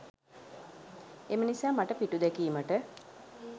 එම නිසා මට පිටුදැකීමට